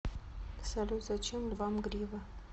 салют зачем львам грива